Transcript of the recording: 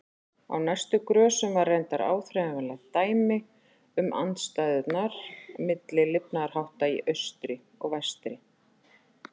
Á næstu grösum var reyndar áþreifanlegt dæmi um andstæðurnar milli lifnaðarhátta í austri og vestri.